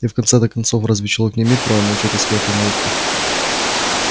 и в конце-то концов разве человек не имеет права молчать о своей помолвке